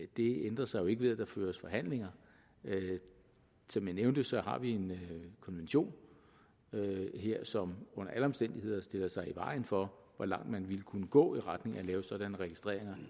det ændrer sig jo ikke ved at der føres forhandlinger som jeg nævnte har vi en konvention her som under alle omstændigheder stiller sig i vejen for hvor langt man ville kunne gå i retning af at lave sådanne registreringer